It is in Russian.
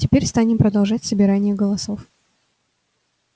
теперь станем продолжать собирание голосов